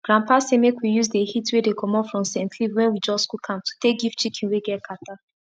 grandpa say make we use the heat wey dey commot from scent leaf wen we just cook am to take give chicken wey get kata